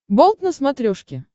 болт на смотрешке